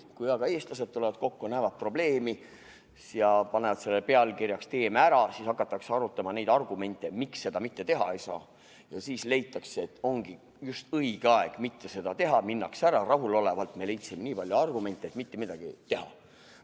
" Kui aga eestlased tulevad kokku, näevad probleemi ja panevad selle pealkirjaks "Teeme ära!", siis hakatakse arutama neid argumente, miks seda teha ei saa, seejärel leitakse, et ongi just õige aeg mitte seda teha, ning minnakse ära rahulolevalt –me leidsime nii palju argumente, et mitte midagi teha.